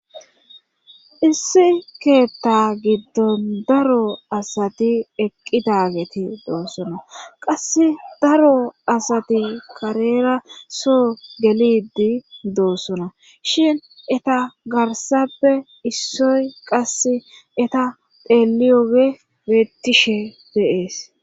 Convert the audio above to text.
issi keetha giddon daro asati eqqi daageti doossona qass daro asati karera soo gelidi doossona shin eta garsappe issoy qasse eta xeliyogey beettishe de'ees